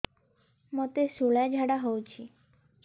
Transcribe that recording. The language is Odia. ମୋତେ ଶୂଳା ଝାଡ଼ା ହଉଚି